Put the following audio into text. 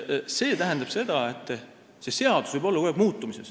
See tähendab seda, et seadus võib kogu aeg muutuda.